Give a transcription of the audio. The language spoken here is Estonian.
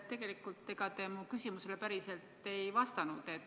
Tegelikult, ega te mu küsimusele päriselt ei vastanud.